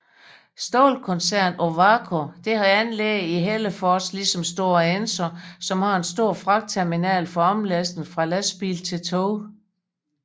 Stålkoncernen Ovako har anlæg i Hällefors ligesom Stora Enso som har en stor fragtterminal for omlastning fra lastbil til tog